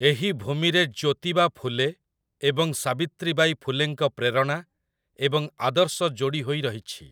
ଏହି ଭୂମିରେ ଜ୍ୟୋତିବା ଫୁଲେ ଏବଂ ସାବିତ୍ରୀବାଈ ଫୁଲେଙ୍କ ପ୍ରେରଣା ଏବଂ ଆଦର୍ଶ ଯୋଡ଼ି ହୋଇରହିଛି ।